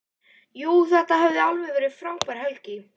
Jú, þetta hafði verið alveg frábær helgi.